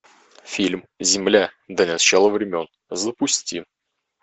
фильм земля до начала времен запусти